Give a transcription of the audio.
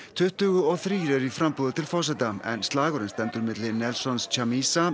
tuttugu og þrír eru í framboði til forseta en slagurinn stendur milli Nelsons Chamisa